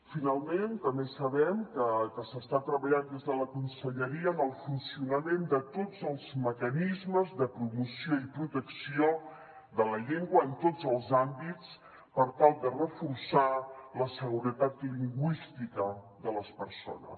finalment també sabem que s’està treballant des de la conselleria en el funcionament de tots els mecanismes de promoció i protecció de la llengua en tots els àmbits per tal de reforçar la seguretat lingüística de les persones